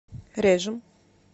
режем